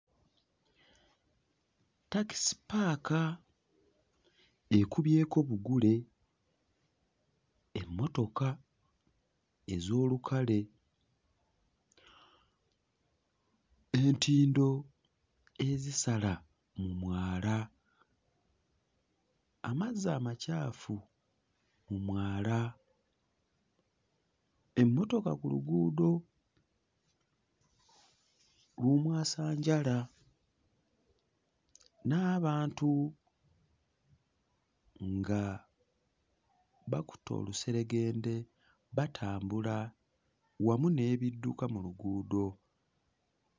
Takisippaaka ekubyeko bugule emmotoka ez'olukale, entindo ezisala mu mwala, amazzi amacaafu mu mwala, emmotoka ku luguudo lumwasanjala n'abantu nga bakutte oluseregende batambula wamu n'ebidduka mu luguudo.